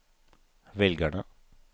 velgerne